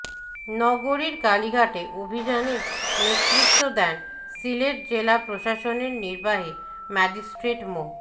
নগরীর কালীঘাটে অভিযানে নেতৃত্ব দেন সিলেট জেলা প্রশাসনের নির্বাহী ম্যাজিস্ট্রেট মো